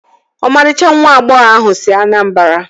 Ọmarịcha nwa agbọghọ ahụ si Anambara